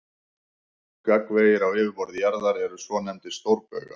Gagnvegir á yfirborði jarðar eru svonefndir stórbaugar.